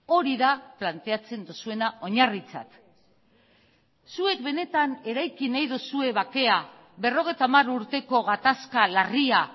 hori da planteatzen duzuena oinarritzat zuek benetan eraiki nahi duzue bakea berrogeita hamar urteko gatazka larria